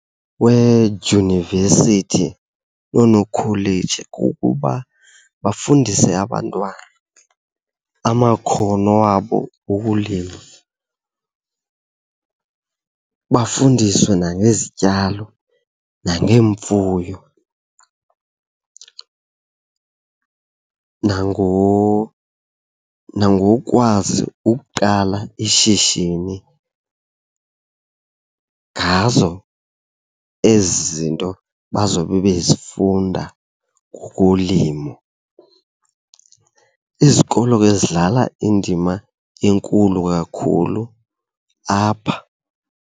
Kweedyunivesithi nonokholeji kukuba bafundise abantwana amakhono wabo wokulima. Bafundiswe nangezityalo nangeengemfuyo nangokwazi ukuqala ishishini ngazo ezi zinto bazobe bezifunda ngokolimo. Izikolo ke zidlala indima enkulu kakhulu apha.